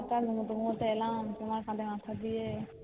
সবটা ভুলে টুলে এলাম তোমার কাঁধে মাথা দিয়ে